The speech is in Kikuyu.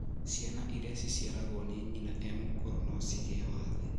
Ciana iria iciaragwo ni nyina e mũkũrũ nocigie na wathe